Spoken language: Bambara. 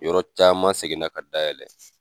Yɔrɔ caman seginna ka dayɛlɛ.